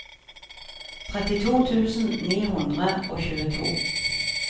trettito tusen ni hundre og tjueto